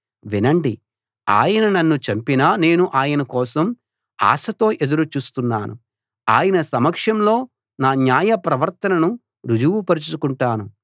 వినండి ఆయన నన్ను చంపినా నేను ఆయన కోసం ఆశతో ఎదురుచూస్తున్నాను ఆయన సమక్షంలో నా న్యాయ ప్రవర్తనను రుజువు పరుచుకుంటాను